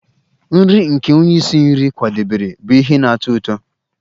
Nri nke onye isi nri kwadebere bụ ihe na-atọ ụtọ